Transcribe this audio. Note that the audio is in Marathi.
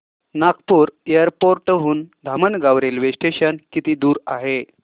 नागपूर एअरपोर्ट हून धामणगाव रेल्वे स्टेशन किती दूर आहे